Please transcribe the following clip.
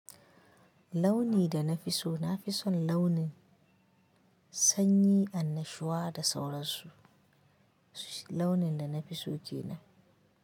Launi da na fi so, na fi son launin sanyi, annashuwa da sauransu. Launin da na fi so shine.